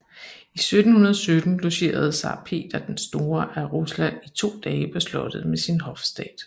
I 1717 logerede zar Peter den store af Rusland i to dage på slottet med sin hofstat